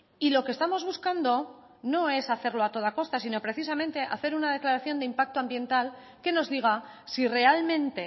y lo que estamos buscando no es hacerlo a toda costa sino precisamente hacer una declaración de impacto ambiental que nos diga si realmente